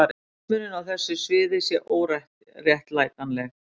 Mismunun á þessu sviði sé óréttlætanleg.